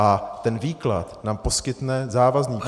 A ten výklad nám poskytne závazný právní -